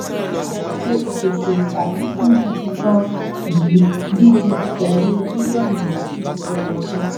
àlàfo ìpèsè tàbí fún gidi ganan yìí dídí pẹlú bílíọnu méjì lọdọọdún